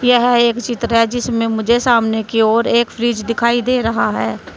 यह एक चित्र है जिसमे मुझे सामने की ओर एक फ्रिज दिखाई दे रहा है।